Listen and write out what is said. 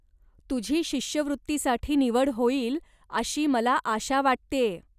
तुझी शिष्यवृत्तीसाठी निवड होईल अशी मला आशा वाटतेय.